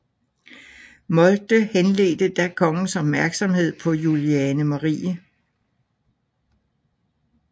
Moltke henledte da kongens opmærksomhed på Juliane Marie